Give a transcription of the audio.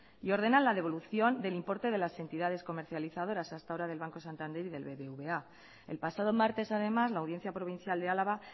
y ordenan la devolución del importe de las entidades comercializadoras hasta ahora del banco santander y del bbva el pasado martes además la audiencia provincial de álava